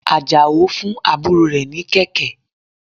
Àjàó fún àbúrò rẹ̀ ní kẹ̀kẹ́.